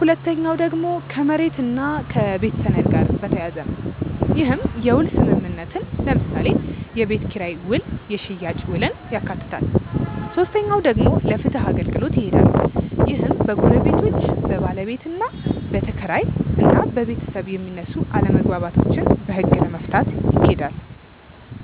ሁለተኛው ደግሞ ከመሬት እና ከቤት ሰነድ ጋር በተያያዘ ነው። ይህም የውል ስምምነትን ለምሳሌ የቤት ኪራይ ውል የሽያጭ ውልን ያካትታል። ሶስተኛው ደግሞ ለፍትህ አገልግሎት ይሄዳሉ። ይህም በጎረቤቶች፣ በባለቤትና ተከራይ እና በቤታብ የሚነሱ አለመግባባቶችን በህግ ለመፍታት ይኬዳል።